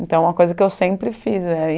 Então é uma coisa que eu sempre fiz